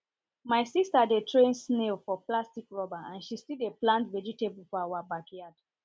my sister dey train snail for plastic rubber and she still dey plant vegetable for our backyard